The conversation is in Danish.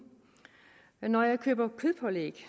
når jeg køber kødpålæg